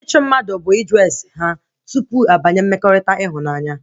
Ịchụ mmadụ bụ ịjụ ese ha tupu abanye mmekọrịta ịhụnanya